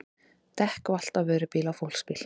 Dekk valt af vörubíl á fólksbíl